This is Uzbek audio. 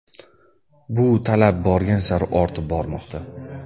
Bu talab borgan sari ortib bormoqda.